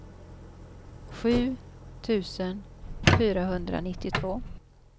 sju tusen fyrahundranittiotvå